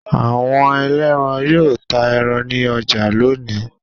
Awọn ẹlẹ́ran yóò ta ẹran ní ọjà lónìí.